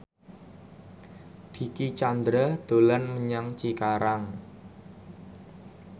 Dicky Chandra dolan menyang Cikarang